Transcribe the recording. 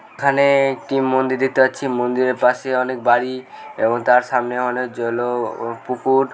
এখানে একটি মন্দির দেখতে পাচ্ছি মন্দিরের পাশে অনেক বারি এবং তার সামনে অনেক জলও ও পুকুর--